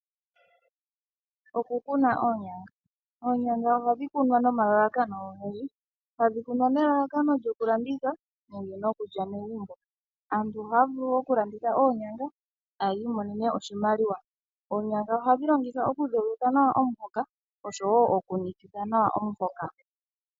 Oku kuna oonyanga, oonyanga oha dhi kunwa nomalalakano ogendji, hadhi kunwa nelalakano lyoku landitha, nenge lyoku lya megumbo. Aantu ohaa vulu oku landitha oonyanga e tayi imonene oshimaliwa. Oonyanga oha dhi longithwa oku dhogitha nawa omuhoka, osho wo, oku nikitha nawa omuhoka.